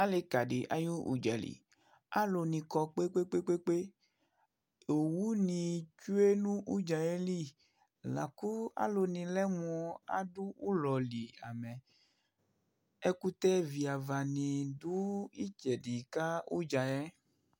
alɩ kadɩ ayʊ udza li, alʊnɩ kɔ poo, owunɩ tsue nʊ udza yɛ li, lakʊ alʊnɩ lɛ mʊ adʊ ulɔ li amɛ, ɛkʊtɛ viava dɩ dʊ itsɛdɩ ka udza yɛ,